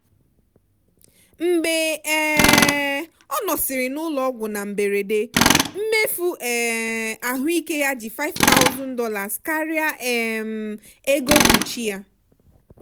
mgbe um ọ nọsịrị n'ụlọ ọgwụ na mberede mmefu um ahụike ya ji $5000 karịa um ego mkpuchi ya.